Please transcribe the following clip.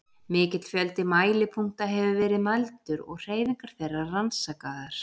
Mikill fjöldi mælipunkta hefur verið mældur og hreyfingar þeirra rannsakaðar.